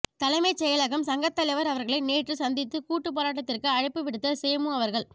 தலைமைச்செயலகம் சங்க தலைவர் அவர்களை நேற்று சந்தித்து கூட்டூப்போராட்டத்திற்கு அழைப்பு விடுத்த செ மு அவர்கள்